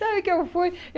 Sabe o que eu fui?